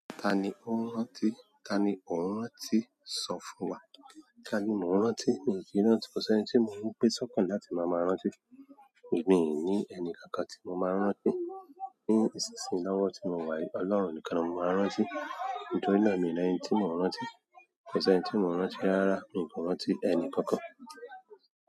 Tani ó ń rántí? Ta ni ò ń rántí? Sọ fún wa. Ta ni mò ń rántí? Mi ò kí ń rántí, kò sẹ́ni tí mò ń gbé sọ́kàn láti máa máa rántí. Èmi ì ní ẹni kankan tí mo máa ń rántí. Ní ìsinsìnyí lọ́wọ́ tí mo wà yìí, Ọlọ́run nìkan ni mò máa ń rántí. Nítorí náà, miì ní ẹni tí mò ń rántí. Kò sẹ́ni tí mò ń rántí rárá. Mi kò rántí ẹni kankan.